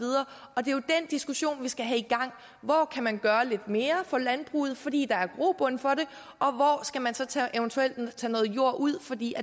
diskussion vi skal have i gang hvor kan man gøre lidt mere for landbruget fordi der er grobund for det og hvor skal man eventuelt tage noget jord ud fordi